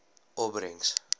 opbrengs